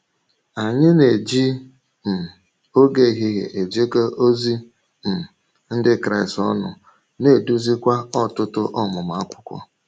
Anyị na-eji um ògé ehihie ejekọ ozi um Ndị Kraịst ọnụ, na-edùzìkwa ọ̀tụ̀tụ̀ ọmụmụ akwụkwọ.